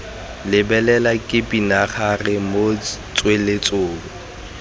lebelela ke pinagare mo tsweletsong